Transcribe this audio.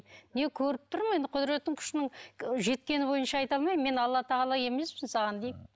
не көріп тұрмын енді құдыреттің күшінің жеткені бойынша айта алмаймын мен алла тағала емеспін саған деймін